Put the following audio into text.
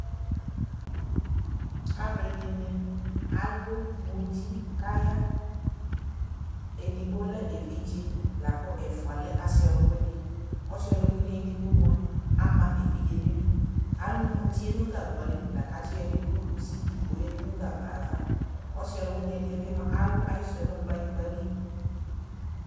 alʋɛdini alʋmʋti kʋ aya, ɛdigbɔ lɛ ɛvidzɛ lakʋ ɛƒʋa lɛ asii ɔlʋwini, asii ɔlʋwini ɛdigbɔ mʋa ama ɛvidzɛ nʋ idʋ, alʋ mʋtiɛ nʋ gagba li lakʋ akyi yɔ ɛdi dʋnʋ kʋsi li kʋ ɔyadʋ nʋ gagba aɣa, ɔsii ɔlʋwini ɛdiɛ bi mʋa alʋ ayisʋɛ nʋ kplayingba li